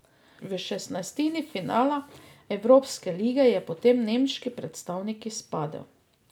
V šestnajstini finala evropske lige je potem nemški predstavnik izpadel.